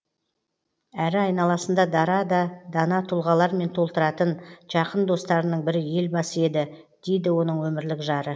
әрі айналасында дара да дана тұлғалармен толтыратын жақын достарының бірі елбасы еді дейді оның өмірлік жары